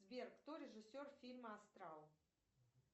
сбер кто режиссер фильма астрал